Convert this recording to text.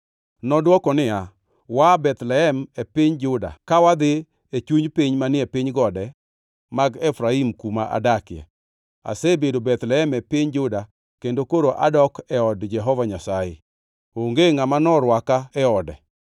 Nodwoko niya, “Waa Bethlehem e piny Juda ka wadhi e chuny piny manie piny gode mag Efraim kuma adakie. Asebedo Bethlehem e piny Juda kendo koro adok e od Jehova Nyasaye. Onge ngʼama oserwaka e ode.